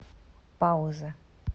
пауза